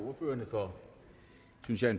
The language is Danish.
herre christian